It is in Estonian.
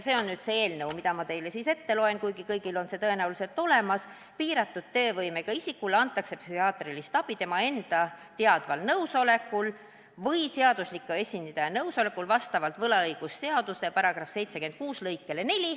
Loen selle ette, kuigi eelnõu on teil kõigil tõenäoliselt olemas: "Piiratud teovõimega isikule antakse psühhiaatrilist abi tema enda teadval nõusolekul või seadusliku esindaja nõusolekul vastavalt võlaõigusseaduse § 766 lõikele 4.